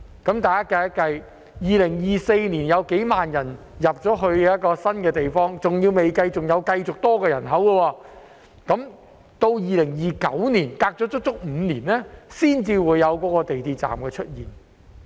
大家計算一下 ，2024 年將有數萬人遷入這個新地區，還未計算持續增加的人口，但要到2029年，相隔足足5年，那個港鐵站才會出現。